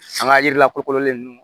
An ka yiri lakololen ninnu